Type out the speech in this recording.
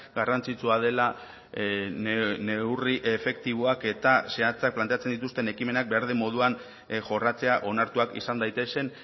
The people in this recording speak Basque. garrantzitsua dela neurri efektiboak eta zehatzak planteatzen dituzten ekimenak behar den moduan jorratzea onartuak izan daitezen